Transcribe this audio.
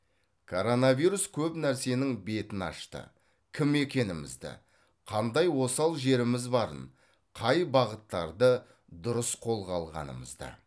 коронавирус көп нәрсенің бетін ашты кім екенімізді қандай осал жеріміз барын қай бағыттарды дұрыс қолға алғанымызды